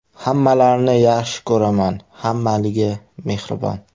Hammalarini yaxshi ko‘raman, hammaligi mehribon.